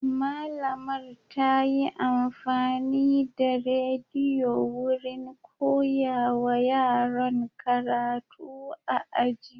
Malamar ta yi amfani da rediyo wurin koyawa yaran karatu a aji.